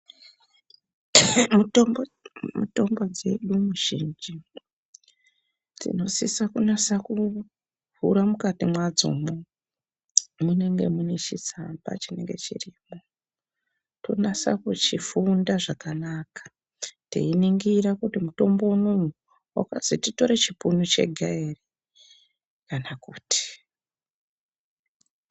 Mutombo dzedu mizhinji dzinosisa kunasekuvhura mukati mwadzomwo mu nenge munechitsamba chinenge chirimwo tonase kuchifunda zvakanaka teiningira kuti mutombo unou wakazi titore chipunu chega ere kana kuti.